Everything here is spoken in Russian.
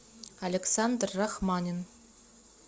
александр рахманин